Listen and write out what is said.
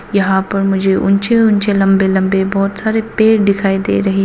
यहां पर मुझे ऊंचे ऊंचे लंबे लंबे बहुत सारे पेड़ दिखाई दे रहे हैं।